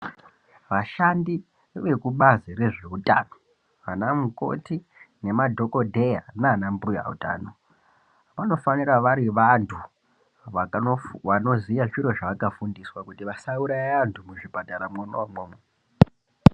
Ashandi vekubazi rezveutano ana mukoti nemadhokodheya nana mbuya utano vanofanira vari vantu vanofu vanoziya zviro zvaakafundiswa kuti vasauraya vantu muzvipatara mwona umwomwo.